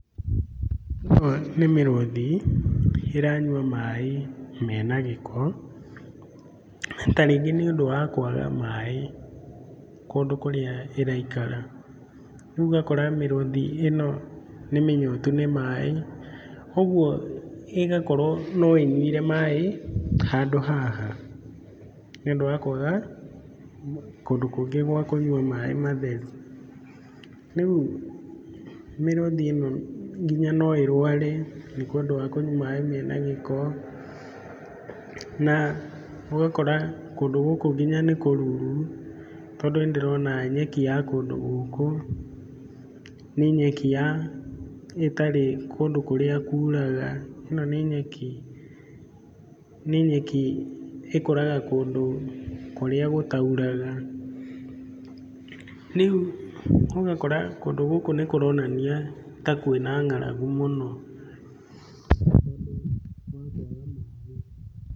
Ĩno nĩ mĩrũthi ĩranyua maĩ mena gĩko, ta rĩngĩ nĩ ũndũ wa kwaga maĩ kũndũ kũrĩa ĩraikara. Rĩu ũgakora mĩrũthi ĩno nĩ mĩnyotu nĩ maĩ ũguo ĩgakorwo no ĩnyuire maĩ handũ haha, nĩ ũndũ wa kwaga kũndũ kũngĩ gwa kũnyua maĩ matheru. Rĩu mĩrũthi ĩno nginya no ĩrũare nĩ tondũ wa kũnyua maĩ mena gĩko. Na ũgakora kũndũ gũkũ nginya nĩ kũruru, tondũ nĩ ndĩrona nyeki ya kũndũ gũkũ nĩ nyeki ya ĩtarĩ kũndũ kũrĩa kuraga. Ĩno nĩ nyeki, nĩ nyeki ĩkũraga kũndũ kũrĩa gũtauraga. Rĩu ũgakora kũndũ gũkũ nĩ kũronania ta kwĩna ng'aragu mũno, tondũ wa kwaga maĩ.